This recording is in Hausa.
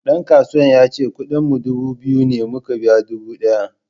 Dan kasuwan yace kudin mu dubu biyu ne muka biya dubu daya.